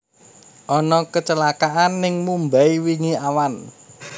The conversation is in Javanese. Ono kecelakaan ning Mumbai wingi awan